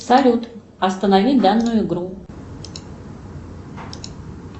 салют останови данную игру